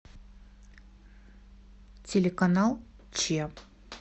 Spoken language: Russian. телеканал че